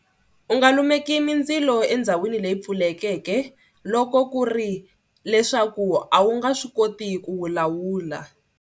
U nga lumeki mindzilo endhawini leyi pfulekeke loko ku ri leswaku a wu nga swi koti ku wu lawula.